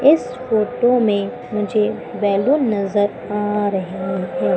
इस फोटो में मुझे बैलून नजर आ रहे हैं।